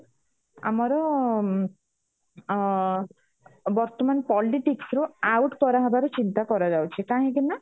ଆମର ଉମ ଅ ବର୍ତମାନ politics ର out କରାହବାର ଚିନ୍ତା କରାଯାଉଛି କାହିଁକି ନା